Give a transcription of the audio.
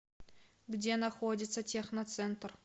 где находится техноцентр